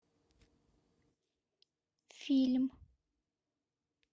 фильм